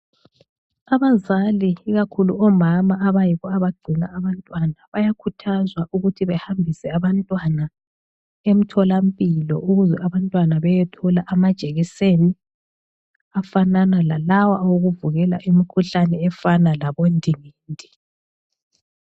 Abazali ikakhulu omama abayibo abagcina abantwana, bayakhuthazwa ukuthi behambise abantwana emtholampilo ukuze abantwana beyethole amajekiseni afanana lalawa owokuvikela imikhuhlane efana labondingindi.